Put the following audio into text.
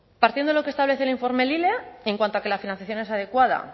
partiendo de lo que establece el informe lile en cuanto a que la financiación es adecuada